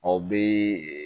Aw bɛ